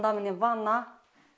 мына міне ванна